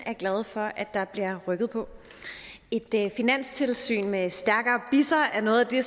er glade for at der bliver rykket på et finanstilsyn med stærkere bisser er noget af